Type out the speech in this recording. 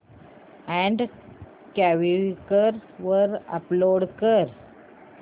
add Quikr वर upload कर